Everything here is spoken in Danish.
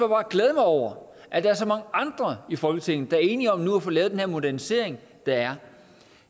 glæde mig over at der er så mange andre i folketinget der er enige om nu at få lavet den her modernisering det er